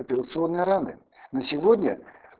операционные раны на сегодня